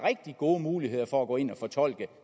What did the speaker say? rigtig gode muligheder for at gå ind og fortolke